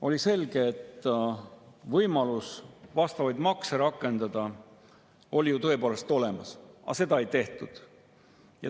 Oli selge, et võimalus vastavaid makse rakendada oli tõepoolest olemas, aga seda ei tehtud.